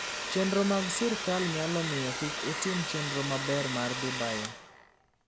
Chike mag sirkal nyalo miyo kik utim chenro maber mar dhi bayo.